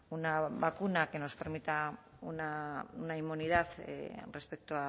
una vacuna que nos permita una inmunidad respecto